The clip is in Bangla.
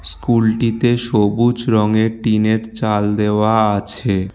স্কুলটিতে সবুজ রঙের টিনের চাল দেওয়া আছে।